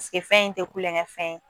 fɛn in tɛ kulonkɛ fɛn ye